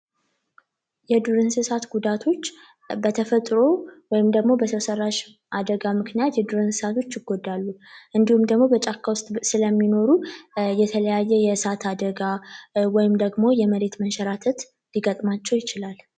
የዱር እንስሳት ጉዳቶች በተፈጥሮ ወይንም በሰው ሰራሽ አደጋ ምክንያት የዱር እንስሳቶች ይጎዳሉ እንዲሁም ደግሞ በጫካ ውስጥ ስለሚኖሩ የተለያየ የእሳት አደጋ ወይም ደግሞ የመሬት መንሸራተት ሊገጥማቸው ይችላል።